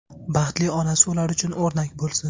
Baxtli onasi ular uchun o‘rnak bo‘lsin.